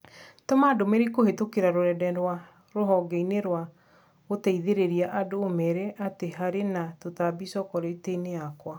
Tũma ndũmĩrĩri kũhĩtũkĩra rũrenda rũa rũhonge inĩ rwa gũteithĩrĩria andũ ũmeere atĩ harĩ na tũtambi chocolate yakwa.